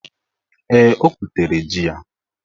Ee, o gwutere ji ya.